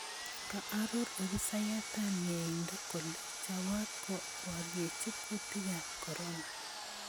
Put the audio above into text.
Koaroor obisaayataab myeindo kole choboot koboryeechi kuutikaab corona